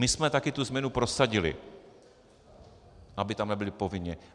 My jsme taky tu změnu prosadili, aby tam nebyli povinně.